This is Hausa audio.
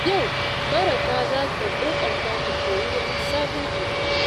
Yau Baraka za ta ƙoƙarta ta koyi wani sabon abu.